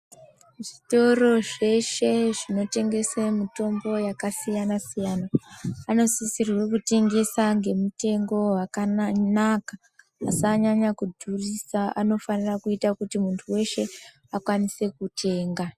Zvitoro zveshe zvinotengese mitombo yakasiyana siyana, vanosisirwe kutengesa nemutengo wakanaka. Asanyanya kudhurisa, anofanira kuita kunti muntu weshe akwanise kutenga.